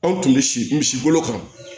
Anw tun bɛ si misi bolo kan